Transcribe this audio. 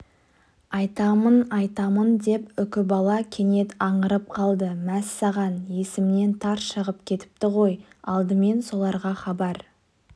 айтамын айтамын деп үкібала кенет аңырып қалды мәссаған есімнен тарс шығып кетіпті ғой алдымен соларға хабар